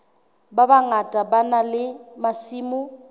bangata ba na le masimo